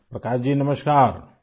Prakash ji نمسکار